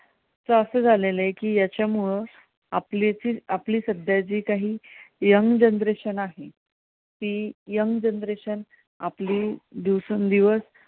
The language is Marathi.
याच असं झालेलं आहे की, याच्यामुळे आपली जी सध्या काही young generation आहे, ती young generation आपली दिवसेंदिवस